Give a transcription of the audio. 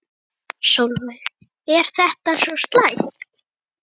Sólveig: Er þetta svo slæmt?